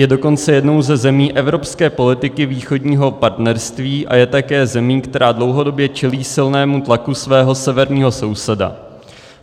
Je dokonce jednou ze zemí evropské politiky Východního partnerství a je také zemí, která dlouhodobě čelí silnému tlaku svého severního souseda.